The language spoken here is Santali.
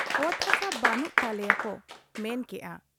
ᱚᱛ ᱦᱟᱥᱟ ᱵᱟᱱᱩᱜ ᱛᱟᱞᱮᱭᱟ ᱠᱚ ᱢᱮᱱ ᱠᱮᱜ ᱟ ᱾